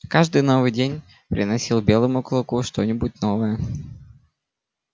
каждый новый день приносил белому клыку что нибудь новое